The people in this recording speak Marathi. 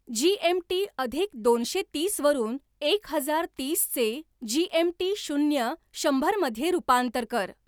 जी. एम. टी. अधिक दोनशे तीस वरून एक हजार तीसचे जी. एम. टी. शून्य शंभरमध्ये रूपांतर कर